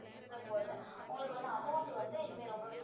வந்து உங்களுக்கு வந்து amount வந்து இனிமே ரொம்பவே